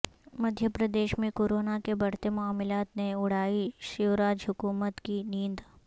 مدھیہ پردیش میں کورونا کے بڑھتے معاملات نے اڑائی شیوراج حکومت کی نیند